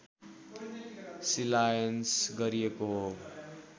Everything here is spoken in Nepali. शिलान्यास गरिएको हो